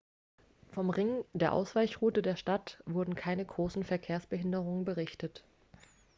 vom ring der ausweichroute der stadt wurden keine großen verkehrsbehinderungen berichtet